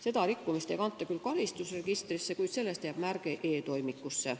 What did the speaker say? Seda rikkumist ei kanta küll karistusregistrisse, kuid sellest jääb märge e-toimikusse.